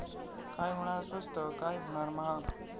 काय होणार स्वस्त, काय होणार महाग?